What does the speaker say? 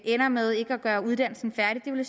ender med ikke at gøre uddannelsen færdig det ville